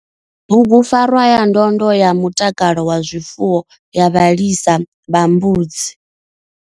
BUGUPFARWA YA NDONDO YA MUTAKALO WA ZWIFUWO YA VHALISA VHA MBUDZI.